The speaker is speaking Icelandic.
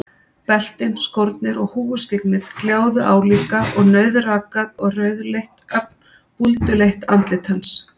Beltin, skórnir og húfuskyggnið gljáðu álíka og nauðrakað og rauðleitt, ögn búlduleitt andlit hans.